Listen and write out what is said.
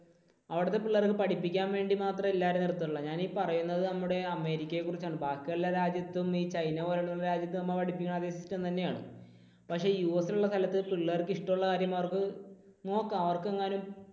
അവിടുത്തെ പിള്ളേരെ അത് പഠിപ്പിക്കാൻ വേണ്ടി മാത്രമേ എല്ലാവരെയും നിർത്തുകയുള്ളൂ. ഞാനീ പറയുന്നത് നമ്മുടെ അമേരിക്കയെ കുറിച്ചാണ്. ബാക്കിയുള്ള രാജ്യത്തും ഈ ചൈന പോലുള്ള രാജ്യത്ത് നമ്മൾ പഠിപ്പിക്കുന്ന അതേ system തന്നെയാണ്. പക്ഷേ യുഎസിൽ ഉള്ള സ്ഥലത്ത് പിള്ളേർക്ക് ഇഷ്ടമുള്ള കാര്യം അവർക്ക് നോക്കാം. അവർക്ക് എങ്ങാനും